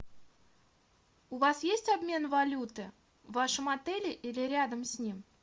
у вас есть обмен валюты в вашем отеле или рядом с ним